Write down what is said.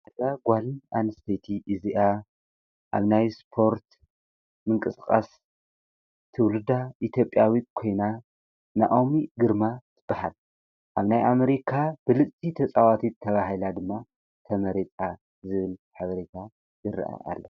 እዛ ጓል አንስተይቲ እዚኣ አብ ናይ ስፖርት ምንቅስቃስ ትውልዳ ኢትዮጵያዊት ኮይና ናኦሚ ግርማ ትበሃል፡፡ አብ ናይ አሜሪካ ብልፅቲ ተፃዋቲት ተባሂላ ድማ ተመሪፃ ዝብል ሓበሬታ ይርአ ኣሎ፡፡